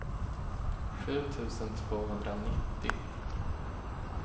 sju tusen tvåhundranittio